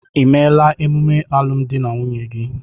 Ị emela emume alụmdi na nwunye gị?